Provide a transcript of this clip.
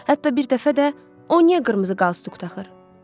Hətta bir dəfə də o niyə qırmızı qalstuk taxır?